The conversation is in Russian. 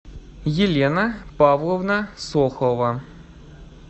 елена павловна сохова